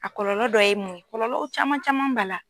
A kɔlɔlɔ dɔ ye mun ye, kɔlɔlɔ caman caman ba la.